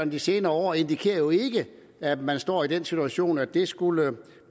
de senere år indikerer jo ikke at man står i den situation at det skulle